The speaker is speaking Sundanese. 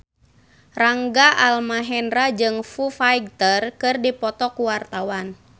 Rangga Almahendra jeung Foo Fighter keur dipoto ku wartawan